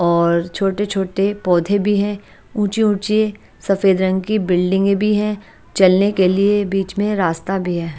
और छोटे छोटे पौधे भी हैं ऊंची ऊंची सफेद रंग की बिल्डिंगे भी हैं चलने के लिए बीच में रास्ता भी है।